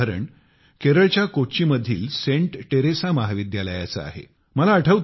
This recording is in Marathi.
असेच एक उदाहरण केरळच्या कोच्चि मधील सेंट टेरेसा महाविद्यालयाचे आहे